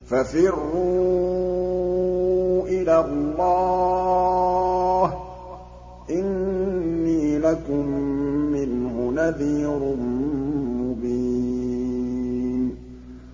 فَفِرُّوا إِلَى اللَّهِ ۖ إِنِّي لَكُم مِّنْهُ نَذِيرٌ مُّبِينٌ